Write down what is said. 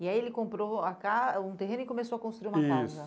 E aí ele comprou a ca um terreno e começou a construir uma casa. Isso